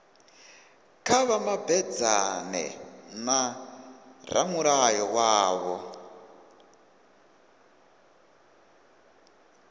kha vha mabedzane na ramulayo wavho